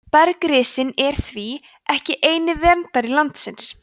bergrisinn er því ekki eini verndari landsins